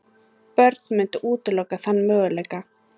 Börn mundu útiloka þann möguleika.